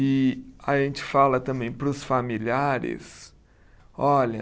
E a gente fala também para os familiares, olha,